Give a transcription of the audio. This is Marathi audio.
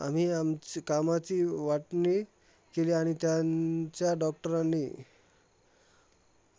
आम्ही आमच्या कामाची वाटणी केली आणि त्यांच्या doctors नी